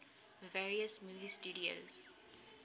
various movie studios